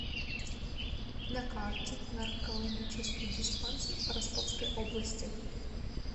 на карте наркологический диспансер по ростовской области